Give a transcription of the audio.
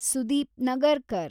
Sudeep Nagarkar